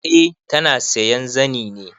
Eh ta na sayan zani ne.